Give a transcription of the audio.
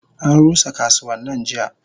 Anrusa kasuwannan jiya.